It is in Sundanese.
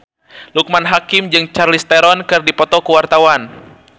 Loekman Hakim jeung Charlize Theron keur dipoto ku wartawan